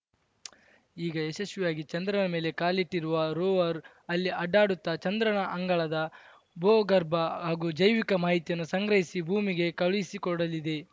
ಈಗ ಯಶಸ್ವಿಯಾಗಿ ಚಂದ್ರನ ಮೇಲೆ ಕಾಲಿಟ್ಟಿರುವ ರೋವರ್‌ ಅಲ್ಲಿ ಅಡ್ಡಾಡುತ್ತಾ ಚಂದ್ರನ ಅಂಗಳದ ಭೂಗರ್ಭ ಹಾಗೂ ಜೈವಿಕ ಮಾಹಿತಿಯನ್ನು ಸಂಗ್ರಹಿಸಿ ಭೂಮಿಗೆ ಕಳುಹಿಸಿಕೊಡಲಿದೆ